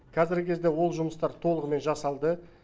қазіргі кезде ол жұмыстар толығымен жасалды